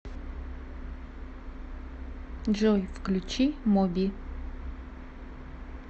джой включи моби